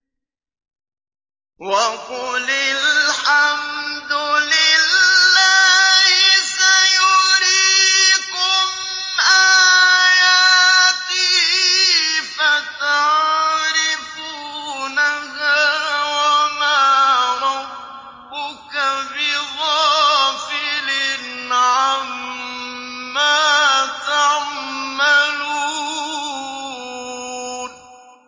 وَقُلِ الْحَمْدُ لِلَّهِ سَيُرِيكُمْ آيَاتِهِ فَتَعْرِفُونَهَا ۚ وَمَا رَبُّكَ بِغَافِلٍ عَمَّا تَعْمَلُونَ